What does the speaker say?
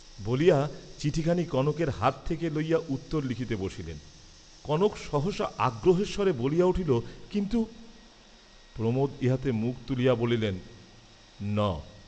বলিয়া চিঠিখানি কনকের হাত হইতে লইয়া উত্তর লিখিতে বসিলেন। কনক সহসা আগ্রহের স্বরে বলিয়া উঠিল, কিন্তু, প্রমোদ ইহাতে মুখ তুলিয়া বলিলেন, ন।